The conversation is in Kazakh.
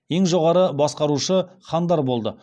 ең жоғары басқарушы хандар болды